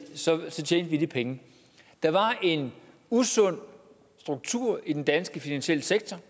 så tjente vi de penge der var en usund struktur i den danske finansielle sektor